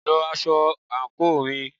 lọ aṣọ àńkò mi!